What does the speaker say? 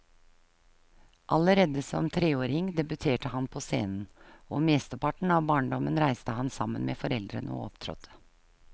Allerede som treåring debuterte han på scenen, og mesteparten av barndommen reiste han sammen med foreldrene og opptrådte.